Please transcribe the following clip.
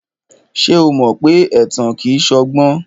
Ṣé o mọ pé ẹ̀tàn kìí ṣọgbọ́n?